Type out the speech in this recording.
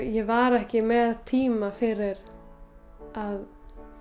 ég var ekki með tíma fyrir að